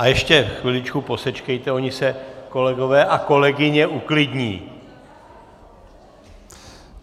A ještě chviličku posečkejte, oni se kolegové a kolegyně uklidní.